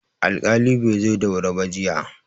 Alƙali bai zo da wuri ba jiya.